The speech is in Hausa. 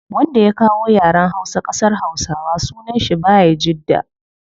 Wanda ya kawo yaren hausa kasar hausawa sunan shi bayajidda